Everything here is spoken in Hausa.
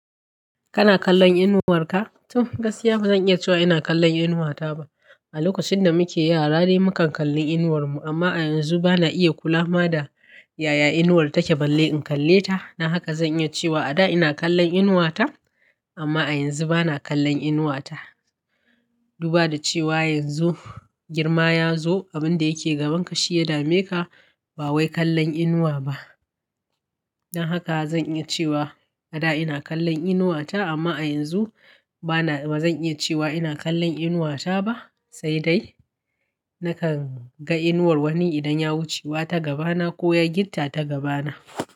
Kana kallon inuwar ka? To gaskiya bazan iya cewa ina kallon inuwata ba. A lokacin da muke yara dai mukan kalli inuwar mu amma a yanzu bana iya kula ma da yaya inuwar take balle in kalle ta. Don haka zan iya cewa a da ina kallon inuwata amma a yanzu bana kallon inuwata. Duba da cewa yanzu girma ya zo abin da yake gaban ka shi ya dame ka ba wai kallon inuwa ba. Don haka zan iya cewa a da ina kallon inuwata amma a yanzu bana, bazan iya cewa ina kallon inuwata ba, sai dai nakan ga inuwar wani idan ya wucewa ta gaba na ko ya gitta ta gaba na.